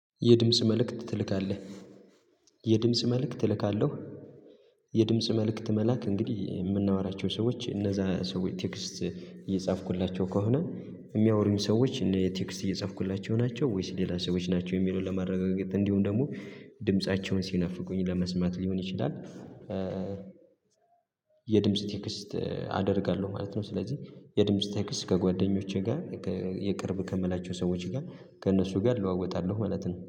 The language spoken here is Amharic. የድምጽ መልእክት ትልካለህ? የድምጽ መልእክት እልካለሁ። የድምጽ መልእክት መላክ እንግዲህ የምናወራቸው ሰዎች እነዛ ሰዎች ቴክስት እየጻፍኩላቸው ከሆነ፤ የሚያወሩኝ ሰዎች እኔ ቴክስት የጻፍኩላቸው ናቸው ወይስ ሌላ ሰዎች ናቸው የሚለውን ለማረጋገጥ፤ እንዲሁም ደግሞ ድምፃቸውን ሲናፍቁኝ ለመስማት ሊሆን ይችላል የድምጽ ቴክስት አደርጋለሁ ማለት ነው። ስለዚህ የድምጽ ቴክስት ከጓደኞቼ ጋር የቅርብ ከምላቸው ሰዎች ጋር ከእነሱ ጋር እለዋወጣለሁ ማለት ነው።